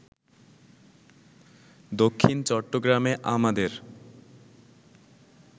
দক্ষিণ চট্টগ্রামে আমাদের